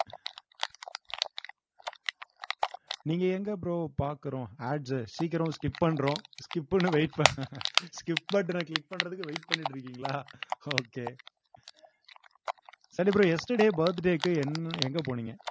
நீங்க எங்க bro பார்க்கிறோம் Ads உ சீக்கிரம் skip பண்றோம் skip ன்னு wait ப~ skip button அ click பண்றதுக்கு wait பண்ணிட்டு இருக்கீங்களா okay சரி bro yesterday birthday க்கு என்~ எங்க போனீங்க